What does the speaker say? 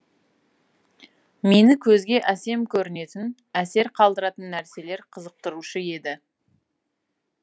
мені көзге әсем көрінетін әсер қалдыратын нәрселер қызықтырушы еді